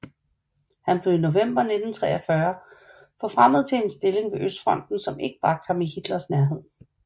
Han blev i november 1943 forfremmet til en stilling ved Østfronten som ikke bragte ham i Hitlers nærhed